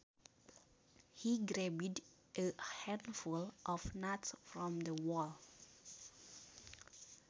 He grabbed a handful of nuts from the bowl